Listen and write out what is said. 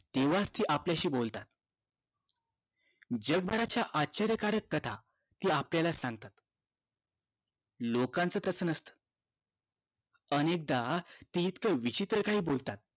तेव्हाच ते आपल्याशी बोलतात जगभरच्या अश्चर्यकारक कथा ते आपल्याला सांगतात लोकांचं तसं नसत अनेकदा ते इतकं विचित्र काही बोलतात